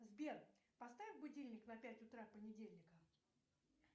сбер поставь будильник на пять утра понедельника